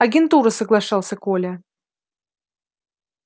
агентура соглашался коля